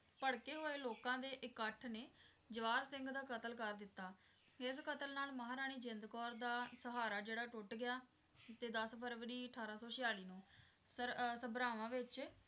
ਭੜਕੇ ਹੋਏ ਲੋਕਾਂ ਦੇ ਇਕੱਠ ਨੇ ਜਵਾਹਰ ਸਿੰਘ ਦਾ ਕਤਲ ਕਰ ਦਿਤਾ, ਇਸ ਕਤਲ ਨਾਲ ਮਹਾਰਾਣੀ ਜਿੰਦ ਕੌਰ ਦਾ ਸਹਾਰਾ ਜਿਹੜਾ ਟੁੱਟ ਗਿਆ ਤੇ ਦਸ ਫਰਵਰੀ ਅਠਾਰਾਂ ਸੌ ਛਿਆਲੀ ਨੂੰ ਸਰ~ ਅਹ ਸਭਰਾਵਾਂ ਵਿੱਚ